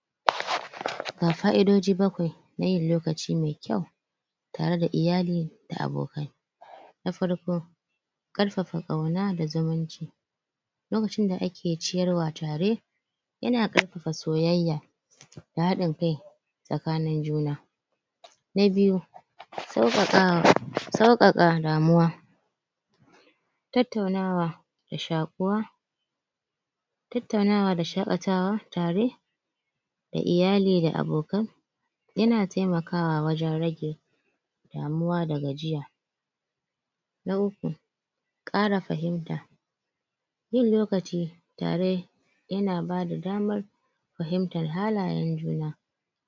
? Ga fa'idoji bakwai na yin lokaci mai kyau tare da iyali da abokai na farko ƙarfafa ƙayna da zumunci lokacin da ake ciyarwa tare yana ƙarfafa soyayya da haɗin kai tsakanin juna na biyu sauƙaƙawa sauƙaƙa damuwa tattaunawa da shaƙuwa tattaunawa da shaƙatawa tare da iyali da abokan yana taimakawa wajen rage damuwa da gajiya na uku ƙara fahimta yin lokaci tare yana bada damar fahimtar halayen juna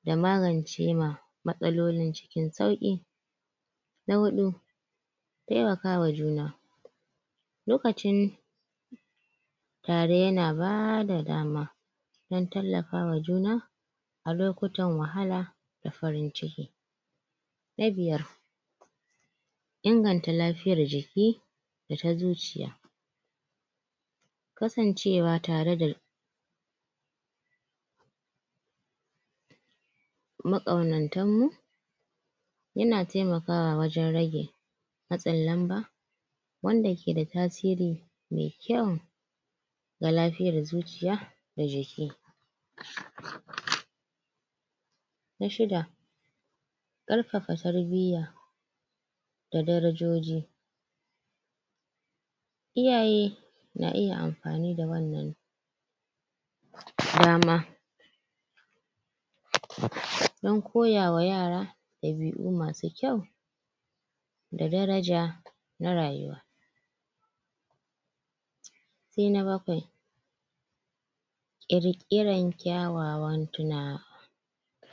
da magance ma matsaloli cikin sauƙi na huɗu taimakawa juna lokacin tare yana bada dama don tallafawa juna a lokutan wahala da farin ciki na biyar inganta lafiyar jiki da ta zuciya kasancewa tare da maƙaunantan mu yana taimakawa wajen rage matsin lamba wanda ke da tasiri mai kyau ga lafiyar zuciya da jiki na shida ƙarfafa tarbiyya da darajoji iyaye na iya amfani da wannan dama don koya wa yara ɗabi'u masu kyau da daraja na rayuwa sai na bakwai ƙirƙiran kyawawan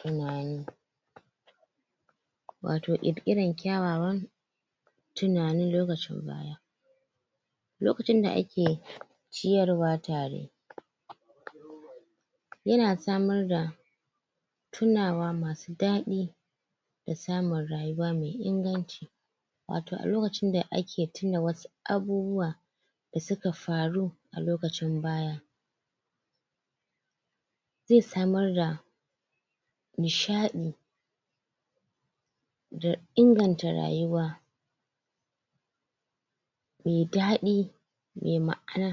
tunani watau ƙirƙiran kyawawan tunanin lokacin? lokacin da ake ciyarwa tare yana samar da tunawa masu daɗi da samun rayuwa mai inganci watau a lokacin da ake tuna wasu abubuwa da suka faru a lokacin baya zai samar da nishaɗi da inganta rayuwa mai daɗi mai ma'ana.